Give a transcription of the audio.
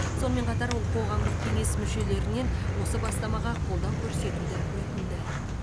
сонымен қатар ол қоғамдық кеңес мүшелерінен осы бастамаға қолдау көрсетуді өтінді